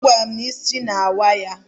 Ọ gwara m na isi na-awa ya.